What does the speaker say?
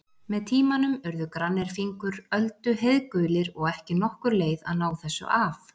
Með tímanum urðu grannir fingur Öldu heiðgulir og ekki nokkur leið að ná þessu af.